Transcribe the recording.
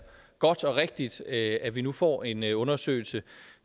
godt og rigtigt at vi nu får en en undersøgelse